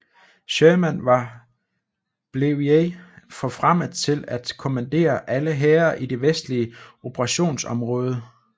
Sherman var blevey forfremmet til at kommandere alle hære i det vestlige operationsområde